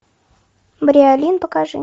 бриолин покажи